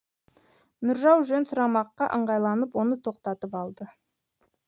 нұржау жөн сұрамаққа ыңғайланып оны тоқтатып алды